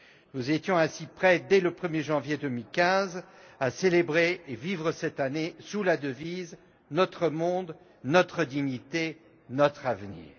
Nous étions ainsi prêts, dès le 1er janvier 2015, à célébrer et à vivre cette année sous la devise Notre monde, notre dignité, notre avenir.